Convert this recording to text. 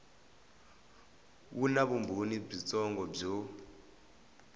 wu na vumbhoni byitsongo byo